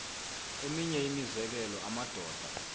eminye imizekelo amadoda